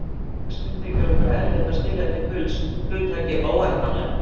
Flestum þykir okkur erfitt að skilja til fulls hugtakið óendanlegt.